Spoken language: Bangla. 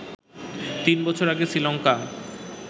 তিন বছর আগে শ্রীলংকা